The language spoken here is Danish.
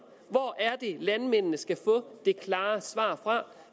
hvor er det landmændene skal få det klare svar fra